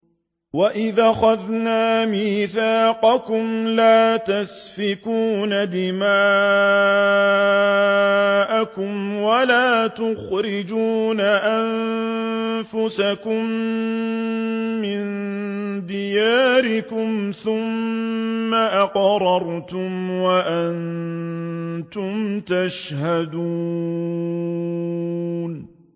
وَإِذْ أَخَذْنَا مِيثَاقَكُمْ لَا تَسْفِكُونَ دِمَاءَكُمْ وَلَا تُخْرِجُونَ أَنفُسَكُم مِّن دِيَارِكُمْ ثُمَّ أَقْرَرْتُمْ وَأَنتُمْ تَشْهَدُونَ